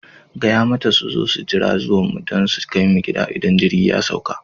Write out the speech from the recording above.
Gaya mata su zo su jira zuwan mu don su kai mu gida idan jirgi ya sauka!